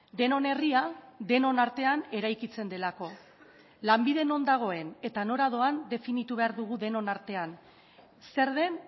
denon herria denon artean eraikitzen delako lanbide non dagoen eta nola dagoen definitu behar dugu denon artean zer den